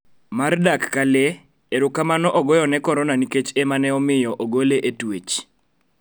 Mar dak ka lee, erokamano ogoye ne Korona nikech emaneomiyo ogole e twech